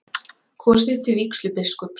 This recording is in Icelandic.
Kosið til vígslubiskups